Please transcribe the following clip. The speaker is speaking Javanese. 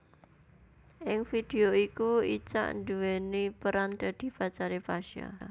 Ing vidéo iku Icha nduwèni peran dadi pacaré Pasha